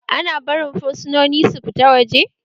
Ana barin fursunoni su fita waje?